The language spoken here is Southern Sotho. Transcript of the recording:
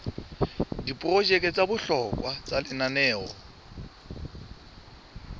diprojeke tsa bohlokwa tsa lenaneo